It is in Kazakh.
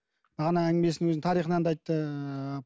бағана әңгімесін өзінің тарихынан да айтты ыыы